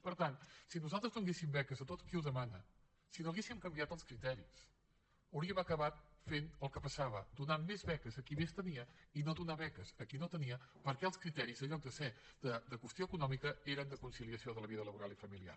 per tant si nosaltres donéssim beques a tothom qui ho demana si no n’haguéssim canviat els criteris hauríem acabat fent el que passava donant més beques a qui més tenia i no donar beques a qui no tenia perquè els criteris en lloc de ser de qüestió econòmica eren de conciliació de la vida laboral i familiar